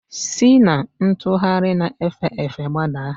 Si na ntugharị na-efe efe gbadaa!